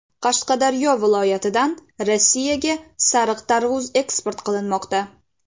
Qashqadaryo viloyatidan Rossiyaga sariq tarvuz eksport qilinmoqda.